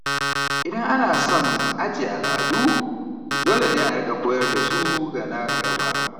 Idan ana son ajiye al’adu, dole ne a rika koyar da su ga na gaba.